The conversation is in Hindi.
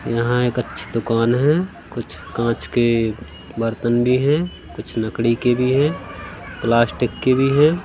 यहां एक अच्छी दुकान है कुछ कांच के बर्तन भी हैं कुछ लकड़ी के भी हैं प्लास्टिक के भी है।